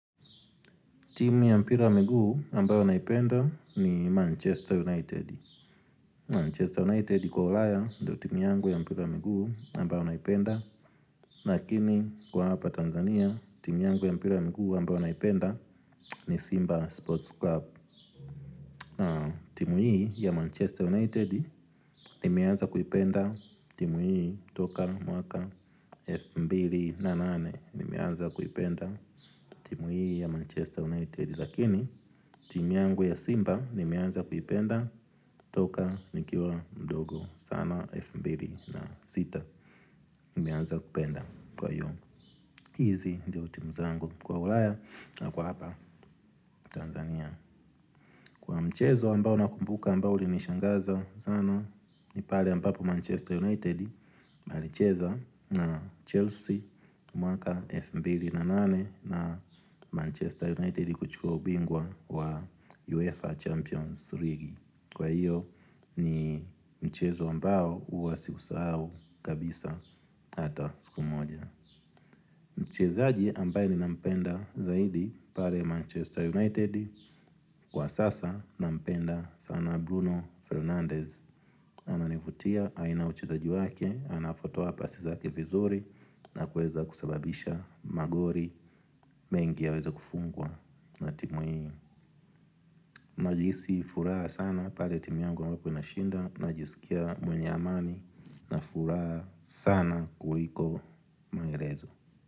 Timu ya mpira wa miguu ambayo naipenda ni Manchester United Manchester United kwa ulaya ndio timu yangu ya mpira wa miguu ambayo naipenda. Lakini kwa hapa Tanzania timu yangu ya mpira wa mguu ambayo naipenda ni Simba Sports Club. Timu hii ya Manchester United nimeaza kuipenda timu hii toka mwaka elfu mbili na nane nimeaza kuipenda timu hii ya Manchester United. Lakini timu yangu ya Simba nimeanza kuipenda toka nikiwa mdogo sana elfu mbili na sita. Nimeanza kupenda kwa iyo hizi ndio timu zangu kwa ulaya na kwa hapa Tanzania. Kwa mchezo ambao nakumbuka ambao ulinishangaza sana. Ni pale ambapo Manchester United walicheza na Chelsea. Mwaka elfu mbili na nane na Manchester United ikauchukua ubingwa wa UEFA Champions league. Kwa hiyo ni mchezo ambao huwa sikusahau kabisa hata siku moja. Mchezaji ambaye ninampenda zaidi pale Manchester United. Kwa sasa nampenda sana Bruno Fernandez. Ananivutia aina ya uchezaji wake, anavotoa pasi zake vizuri na kuweza kusababisha magoli mengi yaweze kufungwa na timu hii. Najisi furaha sana pale timu yangu ambapo inashinda. Najisikia mwenye amani na furaha sana kuliko maelezo.